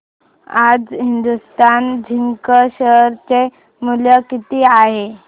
आज Hindustan Zinc share चे मूल्य किती आहे